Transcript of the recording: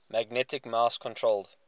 magnetic mouse controlled